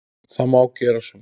Það má gera svona